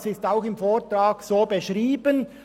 Das ist auch im Vortrag so beschrieben.